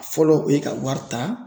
Fɔlɔ o ye ka wari ta